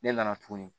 Ne nana tuguni